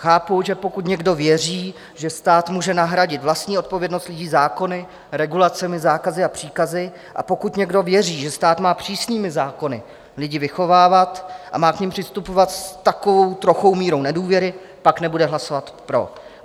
Chápu, že pokud někdo věří, že stát může nahradit vlastní odpovědnost lidí zákony, regulacemi, zákazy a příkazy, a pokud někdo věří, že stát má přísnými zákony lidi vychovávat a má k nim přistupovat s takovou trochou mírou nedůvěry, pak nebude hlasovat pro.